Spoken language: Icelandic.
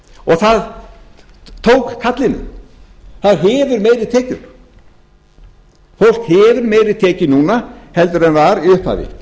kallinu það hefur meiri tekjur fólk hefur meiri tekjur núna en var í upphafi